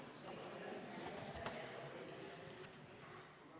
Istungi lõpp kell 13.05.